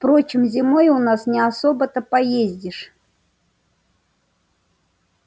впрочем зимой у нас не особо-то и поездишь